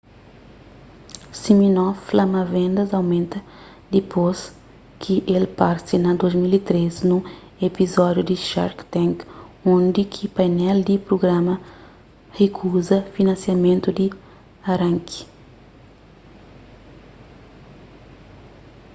siminoff fla ma vendas aumenta dipôs ki el parse na 2013 nun epizódiu di shark tank undi ki painel di prugrama rikuza finansiamentu di aranki